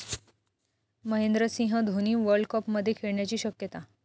Mahendra Singh Dhoni world कपमध्ये खेळण्याची शक्यता